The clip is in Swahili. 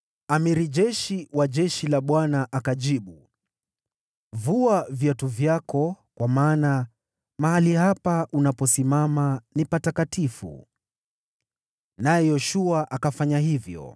Jemadari wa jeshi la Bwana akajibu, “Vua viatu vyako, kwa maana mahali hapa unaposimama ni patakatifu.” Naye Yoshua akafanya hivyo.